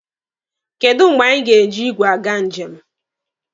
Kedụ mgbe anyị ga-eji igwe aga njem.